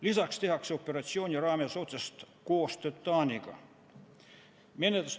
Lisaks tehakse operatsiooni raames otsest koostööd Taaniga.